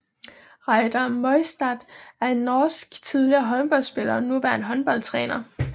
Reidar Møistad er en norsk tidligere håndboldspiller og nuværende håndboldtræner